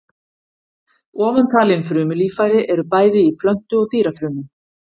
Ofantalin frumulíffæri eru bæði í plöntu- og dýrafrumum.